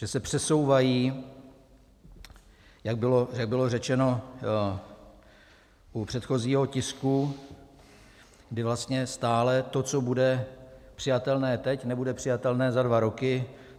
Že se přesouvají, jak bylo řečeno u předchozího tisku, kdy vlastně stále to, co bude přijatelné teď, nebude přijatelné za dva roky.